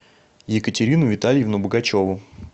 екатерину витальевну богачеву